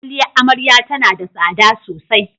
Kwaliyar Amarya tana da tsada sosai.